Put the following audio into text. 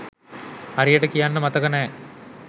හරියට කියන්න මතක නෑ.